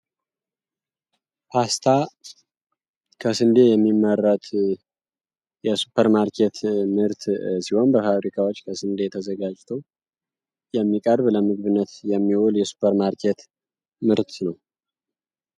ፖስታ ከስንዴ የሚመረት የሱፐርማርኬት ምርት ሲሆን በፋብሪካዎች ከስንዴ የተዘጋጅቶ የሚቀርብ ለምግብነት የሚወል የሱፐር ማርኬት ምርት ነው።